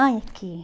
Ai, aqui.